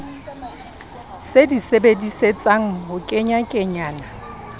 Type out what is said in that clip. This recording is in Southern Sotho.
se di sebedisetsang ho kenyakenyana